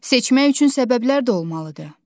Seçmək üçün səbəblər də olmalıdır.